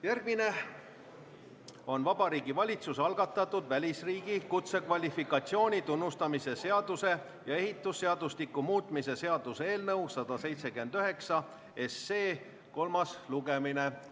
Järgmine on Vabariigi Valitsuse algatatud välisriigi kutsekvalifikatsiooni tunnustamise seaduse ja ehitusseadustiku muutmise seaduse eelnõu 179 kolmas lugemine.